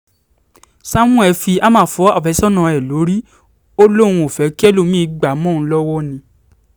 sámúẹ́ fi háàmà fọ àfẹ́sọ́nà ẹ̀ lórí ó lóun kò fẹ́ kẹ́lòmí-ín gbá a mọ́ òun lọ́wọ́ ni